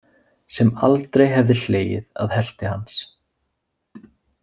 Sem aldrei hefði hlegið að helti hans.